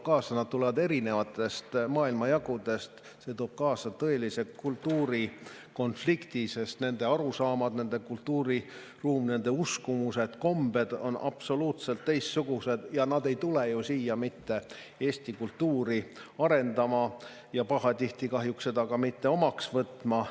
Nad tulevad erinevatest maailmajagudest ja see toob kaasa tõelise kultuurikonflikti, sest nende arusaamad, nende kultuuriruum, nende uskumused ja kombed on absoluutselt teistsugused ja nad ei tule ju siia mitte eesti kultuuri arendama ja pahatihti kahjuks seda ka mitte omaks võtma.